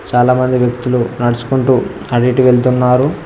చాలా మంది వ్యక్తులు నడుచుకుంటూ అటు ఇటు వెళ్తున్నారు.